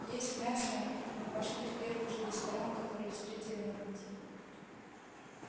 есть мясо мы пошли в первый же ресторан который встретили на пути